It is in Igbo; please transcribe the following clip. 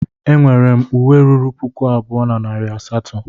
E nwere m uwe ruru puku abụọ na narị asatọ.